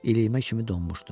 İliyimə kimi donmuşdum.